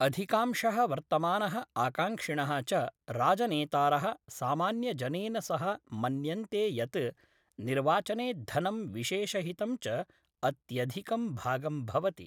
अधिकांशः वर्तमानः आकांक्षिणः च राजनेतारः सामान्यजनेन सह मन्यन्ते यत् निर्वाचने धनं विशेषहितं च अत्यधिकं भागं भवति।